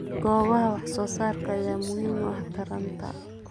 Goobaha wax soo saarka ayaa muhiim u ah taranta.